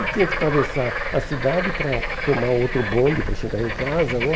Eu tinha que atravessar a cidade para tomar outro bonde, para chegar em casa, né?